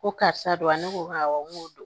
Ko karisa don a ne ko awɔ n ko